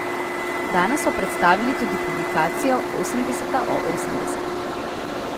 Danes so predstavili tudi publikacijo Osemdeseta o osemdesetih.